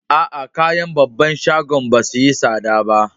Aa, kayan babban shagon ba su yi sada ba.